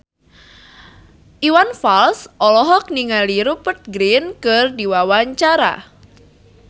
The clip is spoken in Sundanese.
Iwan Fals olohok ningali Rupert Grin keur diwawancara